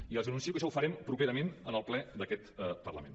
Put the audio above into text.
i ja els anuncio que això ho farem properament en el ple d’aquest parlament